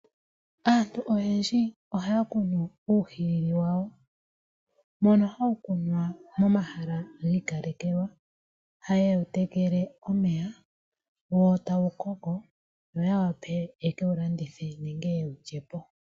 Aantu oyendji ohaya kunu uuhilili wawo, mbono hawu kunwa momahala gi ikalekelwa. Ohaye wu tekele omeya, wo tawu koko ya wape ye ke wu landithe nenge neke wu lye po.